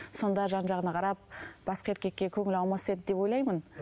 сонда жан жағына қарап басқа еркекке көңілі аумас еді деп ойлаймын